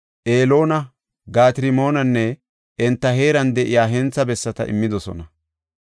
Eloona, Gaat-Rimoonanne enta heeran de7iya hentha bessata immidosona.